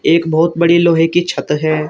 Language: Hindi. एक बहोत बड़ी लोहे की छत है।